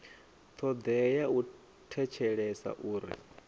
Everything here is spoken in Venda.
thodea ya u thetshelesa uri